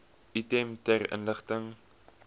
item ter inligting